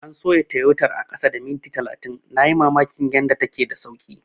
An soya Tayotar a kasa da minti talatin, na yi mamakin yanda take da sauki.